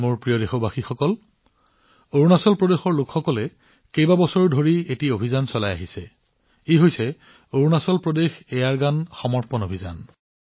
মোৰ মৰমৰ দেশবাসীসকল অৰুণাচল প্ৰদেশৰ জনসাধাৰণে এবছৰ ধৰি এক অনন্য অভিযান আৰম্ভ কৰিছে আৰু ইয়াক অৰুণাচল প্ৰদেশ এয়াৰগান আত্মসমৰ্পণ অভিযান নাম দিছে